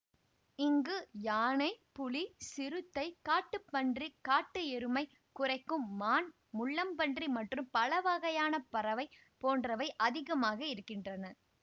இங்கு யானை புலி சிறுத்தை காட்டுப் பன்றி காட்டு எருமை குரைக்கும் மான் முள்ளம்பன்றி மற்றும் பலவகையான பறவை போன்றவை அதிகமாக இருக்கின்றன